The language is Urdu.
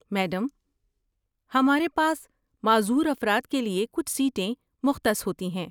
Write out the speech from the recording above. میڈم، ہمارے پاس معذور افراد کے لیے کچھ سیٹیں مختص ہوتی ہیں۔